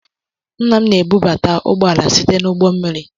Nna m na-ebubata ụgbọ àlà site na ụgbọ mmiri.